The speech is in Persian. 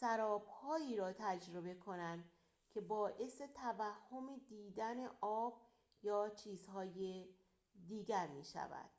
سراب‌هایی را تجربه کنند که باعث توهم دیدن آب یا چیزهای دیگر می‌شود